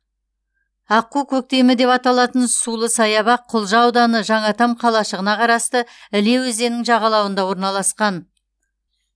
аққу көктемі деп аталатын сулы саябақ құлжа ауданы жаңатам қалашығына қарасты іле өзенінің жағалауында орналасқан